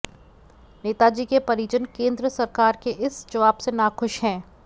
नेताजी के परिजन केंद्र सरकार के इस जवाब से नाखुश हैं